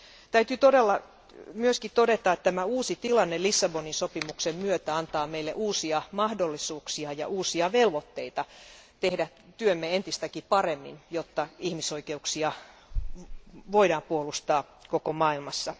Täytyy myös todeta, että tämä uusi tilanne Lissabonin sopimuksen myötä antaa meille uusia mahdollisuuksia ja uusia velvoitteita tehdä työmme entistäkin paremmin, jotta ihmisoikeuksia voidaan puolustaa koko maailmassa.